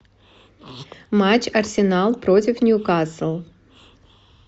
матч арсенал против ньюкасл